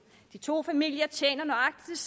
de to familier tjener nøjagtig